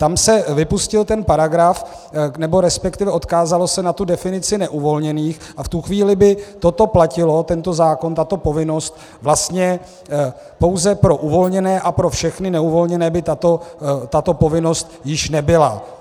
Tam se vypustil ten paragraf, nebo respektive odkázalo se na tu definici neuvolněných, a v tu chvíli by toto platilo, tento zákon, tato povinnost, vlastně pouze pro uvolněné a pro všechny neuvolněné by tato povinnost již nebyla.